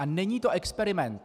A není to experiment.